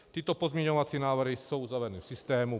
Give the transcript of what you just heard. Tyto pozměňovací návrhy jsou zavedeny v systému.